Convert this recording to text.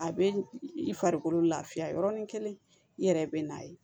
A bɛ i farikolo lafiya yɔrɔnin kelen i yɛrɛ bɛ n'a ye